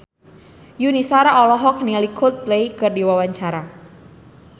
Yuni Shara olohok ningali Coldplay keur diwawancara